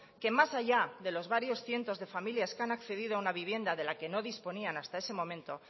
que más allá de los varios cientos de familias que han accedido a una vivienda de la que nos disponían hasta ese momento